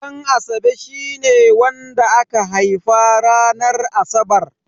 Ɗanasabe shine wanda aka haifa ranar Asabar.